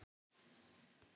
Ertu viss um það?